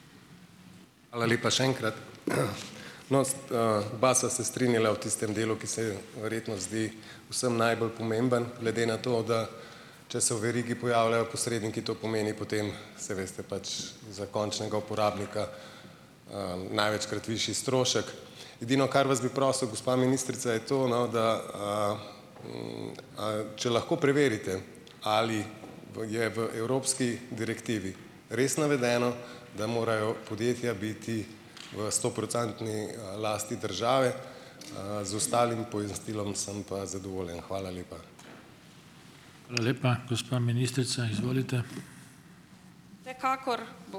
Hvala lepa še enkrat. Oba sva se strinjala v tistem delu, ki verjetno zdi vsem najbolj pomemben glede na to, da če se v verigi pojavljajo posredniki, to pomeni potem, saj veste, pač za končnega uporabnika največkrat višji strošek. Edino, kar vas bi prosil, gospa ministrica je to no, da če lahko preverite ali v je v evropski direktivi res navedeno, da morajo podjetja biti v sto procentni lasti države, z ostalim pojasnilom sem pa zadovoljen. Hvala lepa.